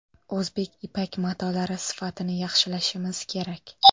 O‘zbek ipak matolari sifatini yaxshilashimiz kerak.